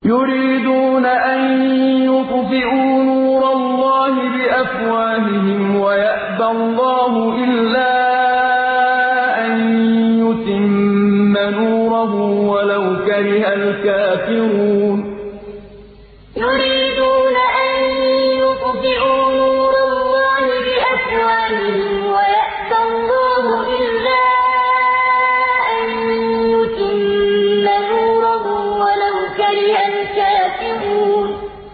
يُرِيدُونَ أَن يُطْفِئُوا نُورَ اللَّهِ بِأَفْوَاهِهِمْ وَيَأْبَى اللَّهُ إِلَّا أَن يُتِمَّ نُورَهُ وَلَوْ كَرِهَ الْكَافِرُونَ يُرِيدُونَ أَن يُطْفِئُوا نُورَ اللَّهِ بِأَفْوَاهِهِمْ وَيَأْبَى اللَّهُ إِلَّا أَن يُتِمَّ نُورَهُ وَلَوْ كَرِهَ الْكَافِرُونَ